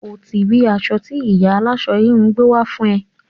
O ti rí aṣọ tí ìyá aláṣọ-híhun gbé wá fún ẹ.